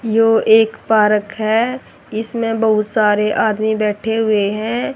जो एक पार्क है इसमें बहुत सारे आदमी बैठे हुए हैं।